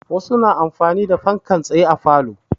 Wasu na amfani da fankan tsaye a falo.